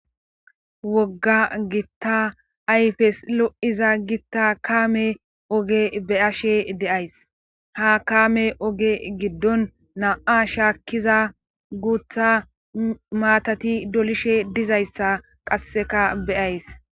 Wogga gitta ayfes lo7iza gitta kaame oge beyashe deays ha kame oge giddon na7a shaakkiza guutha maatati dolishe dizayssa qasseka beyays